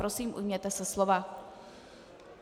Prosím, ujměte se slova.